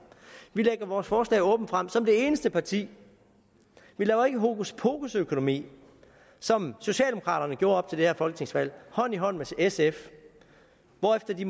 vi lægger vores forslag åbent frem som det eneste parti vi laver ikke hokuspokusøkonomi som socialdemokraterne gjorde op til det her folketingsvalg hånd i hånd med sf hvorefter de